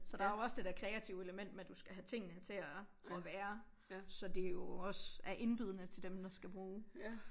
Så der jo også det der kreative element med du skal have tingene til at at være så det jo også er indbydende til dem der skal bruge